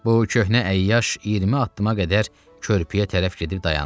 Bu köhnə əyyaş 20 addıma qədər körpüyə tərəf gedib dayandı.